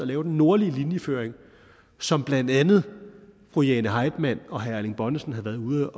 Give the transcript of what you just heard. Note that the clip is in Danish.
lave den nordlige linjeføring som blandt andet fru jane heitmann og herre erling bonnesen havde været ude